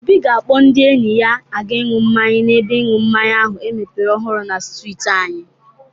Obi ga-akpọ ndị enyi ya aga ịñu mmanya n'ebe ịṅụ mmanya ahụ emepere ọhụrụ na strịtị anyị.